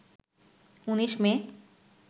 ১৯ মে